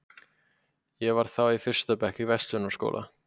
Ég var þá í fyrsta bekk í Verslunarskólanum.